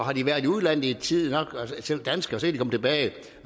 har de været i udlandet i tid nok